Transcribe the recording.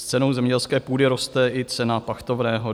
S cenou zemědělské půdy roste i cena pachtovného.